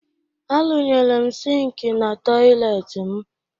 Arụnyere m sịịnkị na tọyịleetị m